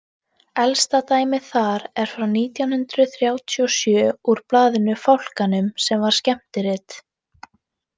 Elsta dæmið þar er frá nítján hundrað þrjátíu og sjö úr blaðinu Fálkanum sem var skemmtirit.